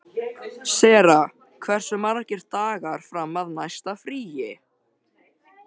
Sera, hversu margir dagar fram að næsta fríi?